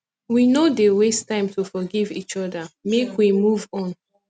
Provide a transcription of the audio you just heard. we no dey waste time to forgive each oda make we move on